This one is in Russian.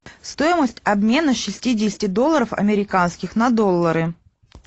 стоимость обмена шестидесяти долларов американских на доллары